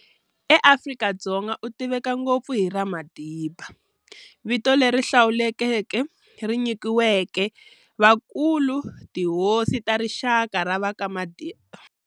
EAfrika-Dzonga u tiveka ngopfu hi ra Madiba, Vito leri hlawuleka ri nyikiwaka vakulu-tihosi ta rixaka ra va ka Mandela.